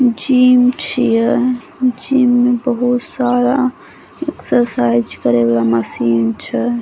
Gym छीये gym में बहुत सारा एक्सरसाइज करे वाला मशीन छै।